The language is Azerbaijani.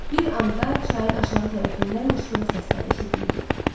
Bir anda çayın aşağı tərəfindən qışqırıq səsləri eşidildi.